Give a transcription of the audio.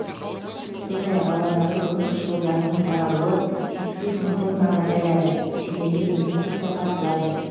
сондай ақ ауадағы көмірқышқыл газының таралуы жетпіс бес мың тоннаға азаяды шетелдік инвестиция тартылады